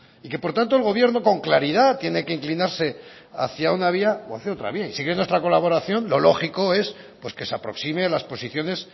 y que por lo tanto el gobierno con claridad tiene que inclinarse hacia una vía o hacia otra vía y si quiere nuestra colaboración lo lógico es que se aproxime las posiciones